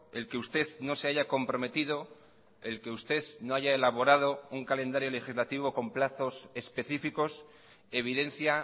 el que usted no se haya comprometido el que usted no haya elaborado un calendario legislativo con plazos específicos evidencia